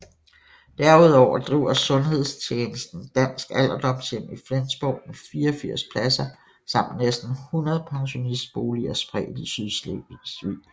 Derudover driver sundhedstjenesten Dansk Alderdomshjem i Flensborg med 84 pladser samt næsten 100 pensionistboliger spredt i Sydslesvig